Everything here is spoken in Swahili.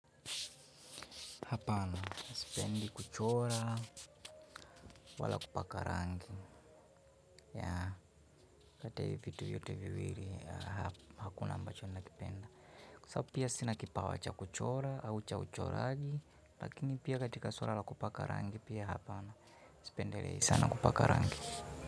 Hapana sipendi kuchora wala kupakarangi, yaa kati ya vitu vyote viwili hakuna ambacho na kipenda kwa sababu pia sina kipawa cha kuchora au cha uchoraji lakini pia katika suala la kupaka rangi, hapana sipendelei sana kupaka rangi.